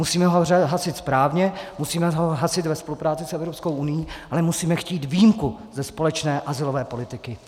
Musíme ho hasit správně, musíme ho hasit ve spolupráci s Evropskou unií, ale musíme chtít výjimku ze společné azylové politiky.